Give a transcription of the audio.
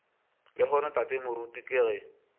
lehono tate moruti ke ge